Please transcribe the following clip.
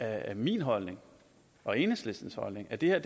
er min holdning og enhedslistens holdning at det her